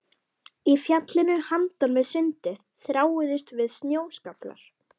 Í fjallinu handan við sundið þráuðust við snjóskaflar.